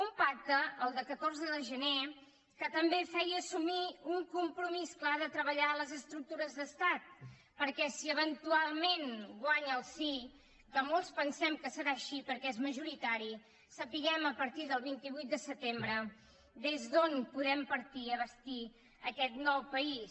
un pacte el del catorze de gener que també feia assumir un compromís clar de treballar les estructures d’estat perquè si eventualment guanya el sí que molts pensem que serà així perquè és majoritari sapiguem a partir del vint vuit de setembre des d’on podem partir per bastir aquest nou país